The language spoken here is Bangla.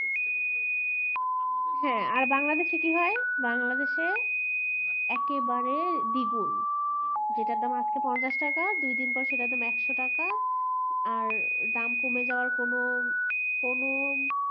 আর বাংলা দেশে কি হয় বাংলা দেশে একেবারে দ্বিগুন যেটার দাম আজকে পঞ্চাশ টাকা দুদিন পর একশোটাকা